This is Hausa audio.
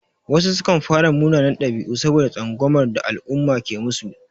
Wasu sukan fara munanan ɗabi'u saboda tsangwamar da al'umma ke musu.